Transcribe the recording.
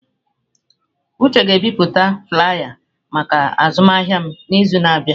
Uche ga-ebipụta flaiya maka azụmahịa m n'izu na-abịa.